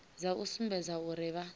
dza u sumbedza uri vha